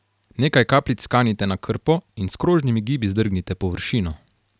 Nekaj kapljic kanite na krpo in s krožnimi gibi zdrgnite površino.